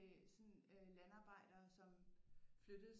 Øh sådan øh landarbejdere som flyttede